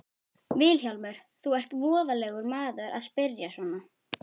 VILHJÁLMUR: Þú ert voðalegur maður að spyrja svona.